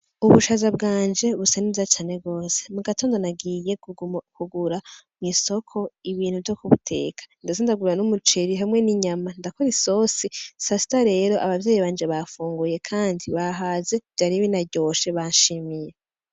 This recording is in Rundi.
Ubushaza bwanje busa neza cane gose, mugatondo nagiye kugura mw'isoko ibintu vyo kubiteka, ndetse ndagura n'umuceri hamwe n'inyama ndakora isosi. Sasita rero abavyeyi banje bafunguye kandi bahaze vyari binaryoshe banshimiye.